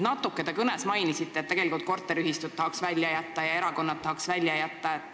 Natuke te kõnes mainisite, tegelikult tahaksite siit korteriühistud ja erakonnad välja jätta.